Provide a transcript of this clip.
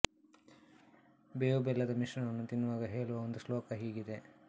ಬೇವು ಬೆಲ್ಲದ ಮಿಶ್ರಣವನ್ನು ತಿನ್ನುವಾಗ ಹೇಳುವ ಒಂದು ಶ್ಲೋಕ ಹೀಗಿದೆ